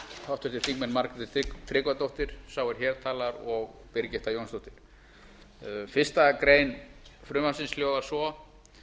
háttvirtir þingmenn margrét tryggvadóttir sá er hér talar og birgitta jónsdóttir fyrstu grein frumvarpsins hljóðar svo